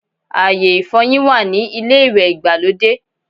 Ayé ìfọyín wà ní ilé ìwẹ̀ ìgbàlódé